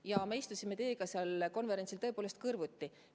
Ja me istusime teiega seal konverentsil tõepoolest kõrvuti.